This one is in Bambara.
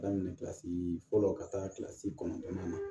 Daminɛ kilasi fɔlɔ ka taa kilasi kɔnɔntɔnnan na